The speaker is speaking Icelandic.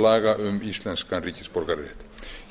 laga um íslenskan ríkisborgararétt